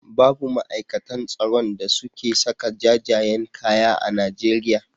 Babu ma'aikatan tsaron a suke saka jajayen kaya a Najeriya.